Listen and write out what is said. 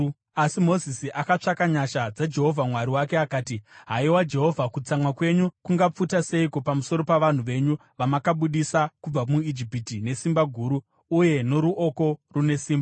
Asi Mozisi akatsvaka nyasha dzaJehovha Mwari wake, akati, “Haiwa Jehovha, kutsamwa kwenyu kungapfuta seiko pamusoro pavanhu venyu, vamakabudisa kubva muIjipiti nesimba guru uye noruoko rune simba?